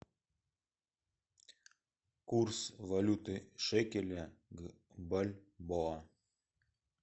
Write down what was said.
курс валюты шекеля к бальбоа